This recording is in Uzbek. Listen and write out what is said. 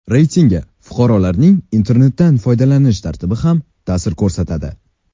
Reytingga fuqarolarning internetdan foydalanish tartibi ham ta’sir ko‘rsatadi.